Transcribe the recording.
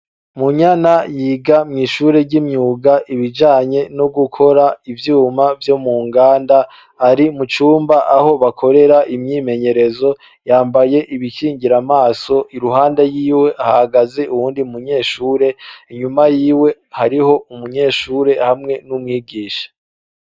Munyana yiga mw'ishure ry'imyuga ibijanye no gukora ivyuma vyo mu nganda ari mucumba aho bakorera imyimenyerezo yambaye ibikingira amaso iruhande yiwe hahagaze uwundi munyeshure inyuma yiwe hariho umunyeshure hamwe n'umwigisha.